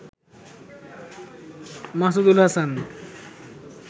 Masudul Hasan